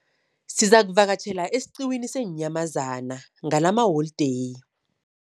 Sizakuvakatjhela esiqiwini seenyamazana ngalamaholideyi.